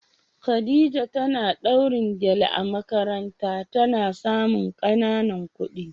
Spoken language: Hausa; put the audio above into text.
Khadija tana dawrin gele a makaranta ta na samun kananan kudi.